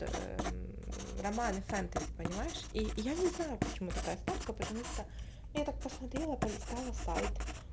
романы фэнтези понимаешь и я не знаю почему такая ставка потому что я так посмотрела полистала сайт